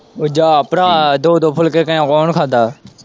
ਓ ਜਾਹ ਭਰਾ ਦੋ-ਦੋ ਫੁਲਕੇ ਕੇ ਕੌਣ ਖਾਂਦਾ।